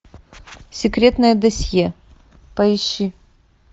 секретное досье поищи